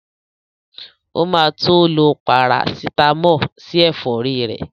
O ma tó lo Parasítámọ̀ sí ẹ̀fọ́rí ẹ̀